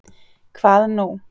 Hvað nú?